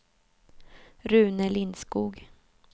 Rune Lindskog